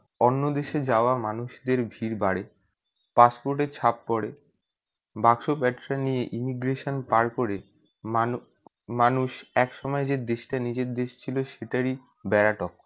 অন্য দেশ যাওয়া মানুষদের ভিড় বাড়ে passport এ ছাপ পরে বাক্স প্যাকরা নিয়ে immigration পাড় করে মানু~ মানুষ এক সময়ে যে দেশ তা নিজের দেশ তা ছিল সেটার ই বেড়া টপকায়।